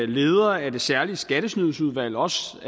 leder af det særlige skattesnydsudvalg også